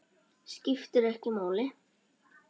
Skiptir ekki máli.